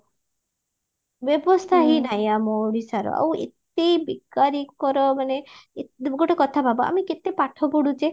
ବ୍ୟବସ୍ଥା ହିଁ ନାହିଁ ଆମ ଓଡିଶାର ଆଉ ଏତେ ବେକାରୀଙ୍କର ମାନେ ଏ ଗୋଟେ କଥା ଭାବ ଆମେ କେତେ ପାଠ ପଢୁଛେ